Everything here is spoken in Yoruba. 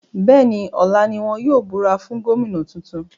Bẹ́ẹ̀ni, ọ̀la ní wọn yóò búra fún Gómìnà tuntun